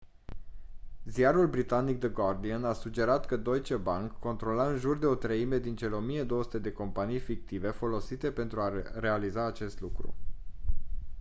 ziarul britanic the guardian a sugerat că deutsche bank controla în jur de o treime din cele 1200 de companii fictive folosite pentru a realiza acest lucru